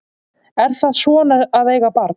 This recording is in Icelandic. Er það svona að eiga barn?